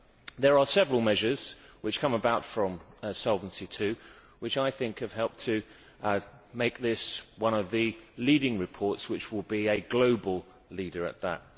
There are several measures which come about from Solvency II which I think have helped to make this one of the leading reports, which will be a global leader at that.